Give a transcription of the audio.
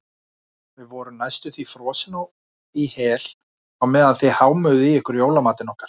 Við vorum næstum því frosin í hel á meðan þið hámuðuð í ykkur jólamatinn okkar.